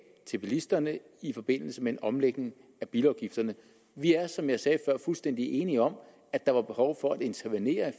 til bilisterne i forbindelse med en omlægning af bilafgifterne vi er som jeg sagde før fuldstændig enige om at der var et behov for at intervenere i